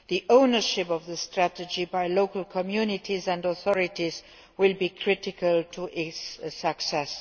Ownership of the strategy by local communities and authorities will be critical to its success.